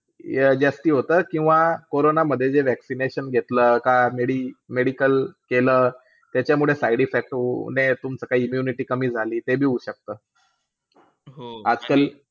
या जास्ती होतात. किंवा कोरोना मध्ये जे vaccination घेतलं का media medical केलं की त्याच्यामुळे side-effect होऊ नये तुमचा immunity कमी झाली. ते बी होऊ शकता आजकाल